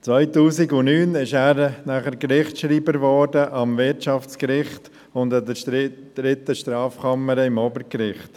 2009 wurde er Gerichtsschreiber am Wirtschaftsgericht und in der dritten Strafkammer des Obergerichts.